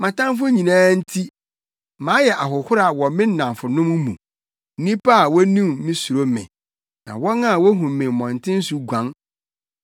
Mʼatamfo nyinaa nti, mayɛ ahohora wɔ me nnamfonom mu; nnipa a wonim me suro me, na wɔn a wohu me mmɔnten so guan.